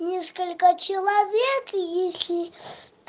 несколько человек если